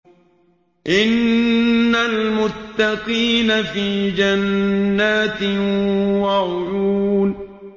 إِنَّ الْمُتَّقِينَ فِي جَنَّاتٍ وَعُيُونٍ